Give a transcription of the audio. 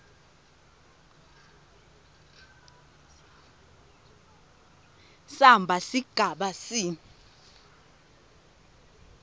samba sigaba c